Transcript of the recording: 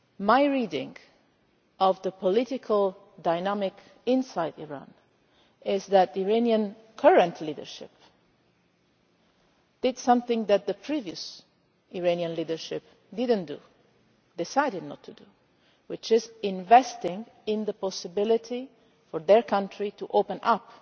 My reading of the political dynamic inside Iran is that the current Iranian leadership did something that the previous Iranian leadership did not do decided not to do which is investing in the possibility for their country to open up